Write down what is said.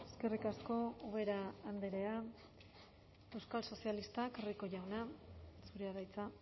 eskerrik asko ubera andrea euskal sozialistak rico jauna zurea da hitza